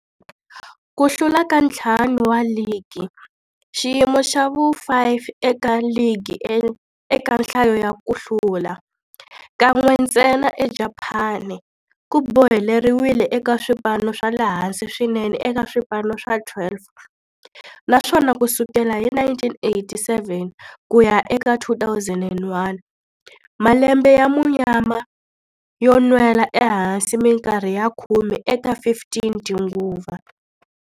Ku hlula ka ntlhanu wa ligi, xiyimo xa vu-5 eka ligi eka nhlayo ya ku hlula, kan'we ntsena eJapani, ku boheleriwile eka swipano swa le hansi swinene eka swipano swa 12, naswona ku sukela hi 1987 ku ya eka 2001, malembe ya munyama yo nwela ehansi minkarhi ya khume eka 15 tinguva.